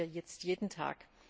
Das sehen wir jetzt jeden Tag.